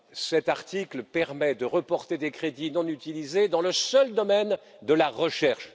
Cet article permet de reporter des crédits non utilisés dans le seul domaine de la recherche.